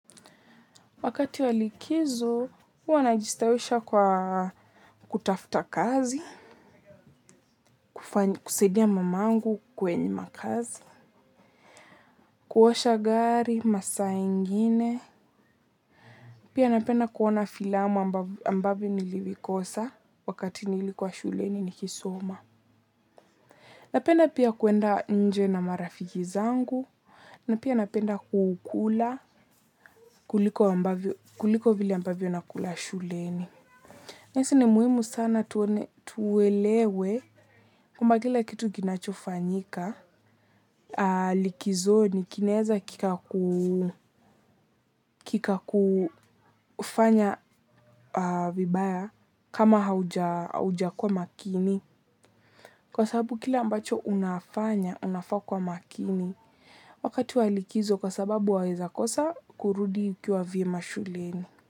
Wakati wa likizo, huwa najistawisha kwa kutafuta kazi, kusaidia mamangu kwenye makazi, kuosha gari, masaa ingine, pia napenda kuona filamu ambavyo nilivikosa wakati nilikuwa shuleni nikisoma. Napenda pia kuenda nje na marafiki zangu, na pia napenda kukula kuliko vile ambavyo nakula shuleni. Nesi ni muhimu sana tuwelewe kwamba kila kitu kinachofanyika, likizo ni kinaweza kika kufanya vibaya kama hauja kuwa makini. Kwa sababu kila ambacho unafanya, unafaa kuwa makini, wakati wa likizo kwa sababu waweza kosa kurudi ukiwa vyema shuleni.